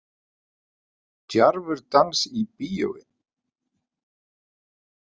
Djarfur dans í bíói